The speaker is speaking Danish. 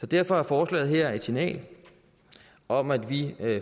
derfor er forslaget her et signal om at vi